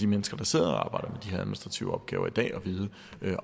mennesker der sidder og arbejder med her administrative opgaver i dag at vide